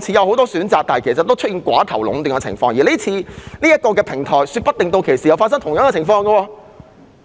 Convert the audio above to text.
似有很多選擇，但其實存在寡頭壟斷的情況，說不定這個平台也會出現類似情況。